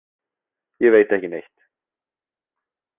Ég veit ekki neitt.